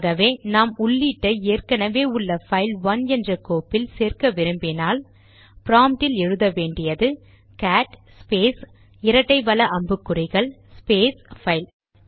ஆகவே நாம் உள்ளீட்டை ஏற்கெனெவே உள்ள பைல் ஒன் என்ற கோப்பில் சேர்க்க விரும்பினால் ப்ராம்ட்டில் எழுத வேண்டியது கேட் ஸ்பேஸ் இரட்டை வல அம்புக்குறிகள் ஸ்பேஸ் பைல்